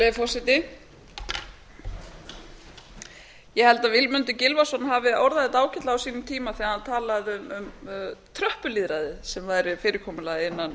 virðulegur forseti ég held að vilmundur gylfason hafi orðað þetta ágætlega á sínum tíma þegar hann talaði um tröppulýðræðið sem væri fyrirkomulagið